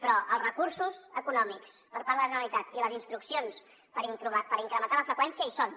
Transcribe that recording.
però els recursos econòmics per part de la generalitat i les instruccions per incrementar la freqüència hi són